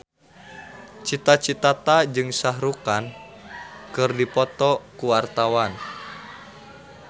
Cita Citata jeung Shah Rukh Khan keur dipoto ku wartawan